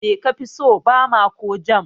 Me kafi so, Bama ko Jam?